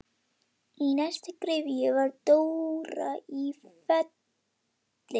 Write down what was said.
Í næstu gryfju var Dóra í Felli.